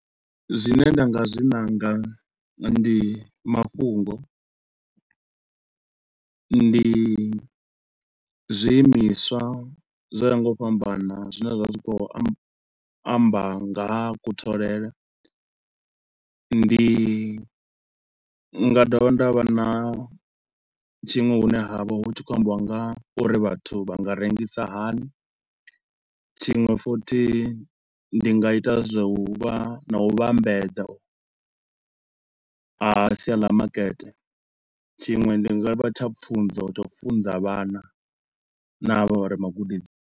Zwine nda nga zwi nanga ndi mafhungo, ndi zwi imiswa zwo yaho nga u fhambana, zwine zwa vha zwi khou amba nga ha kutholele, ndi nga dovha nda vha na tshiṅwe hune ha vha hutshi khou ambiwa nga ha uri vhathu vha nga rengisa hani, tshiṅwe futhi ndi nga ita zwa u vha na u vhambedza a sia la makete, tshiṅwe ndi nga vha tsha pfunzo tsha funza vhana na ha vha vha re magudedzini.